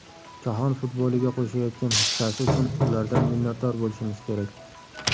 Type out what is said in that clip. Jahon futboliga qo‘shayotgan hissasi uchun ulardan minnatdor bo‘lishimiz kerak.